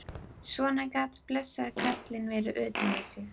Svona gat blessaður karlinn verið utan við sig.